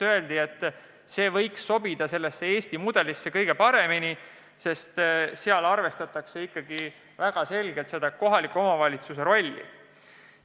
Öeldi, et see võiks sobida Eesti mudelisse kõige paremini, sest Hollandis arvestatakse väga selgelt kohaliku omavalitsuse rolli.